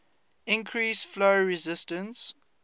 increase flow resistance